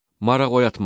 Maraq oyatma.